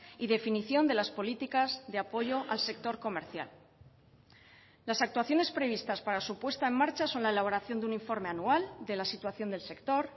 y definición de las políticas de apoyo al sector comercial las actuaciones previstas para su puesta en marcha son la elaboración de un informe anual de la situación del sector